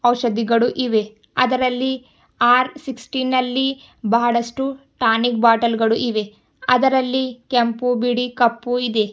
ಔಷಧಿಗಳು ಇವೆ ಅದರಲ್ಲಿ ಆರ್ ಸಿಸ್ಟೀನ್ ಬಹಳಷ್ಟು ಟಾನಿಕ್ ಬಾಟಲ್ ಗಳು ಇವೆ ಅದರಲ್ಲಿ ಕೆಂಪು ಬಿಳಿ ಕಪ್ಪು ಇದೆ.